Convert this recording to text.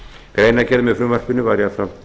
greinargerð með frumvarpinu var jafnframt